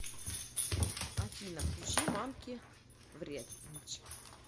афина включи манки вренч